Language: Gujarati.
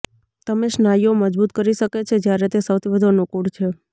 તમે સ્નાયુઓ મજબૂત કરી શકે છે જ્યારે તે સૌથી વધુ અનુકૂળ છે